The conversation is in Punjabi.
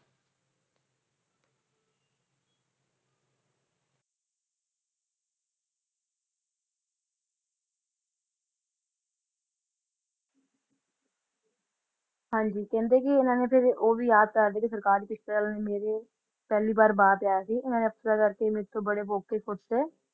ਹਾਂਜੀ ਕਹਿੰਦੇ ਇਹਨਾਂ ਨੇ ਫੇਰ ਉਹ ਵੀ ਯਾਦ ਕਰਦੇ ਕੇ ਸਰਕਾਰ ਕਿਸ ਤਰਾਂ ਮੇਰੇ ਪਹਿਲੀ ਬਾਰੇ ਮੇਰੇ ਬਾਰ ਤੇ ਆਇਆ ਸੀ ਓਹਨਾ ਅਫਸਰਾਂ ਕਰਕੇ ਮੇਰੇ ਤੋਂ ਬੜੇ ਮੌਕੇ ਖੁੱਸ ਗਏ